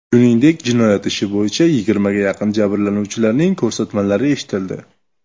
Shuningdek, jinoyat ishi bo‘yicha yigirmaga yaqin jabrlanuvchilarning ko‘rsatmalari eshitildi.